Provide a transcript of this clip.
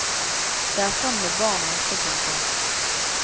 Det er sånn med barnet også. punktum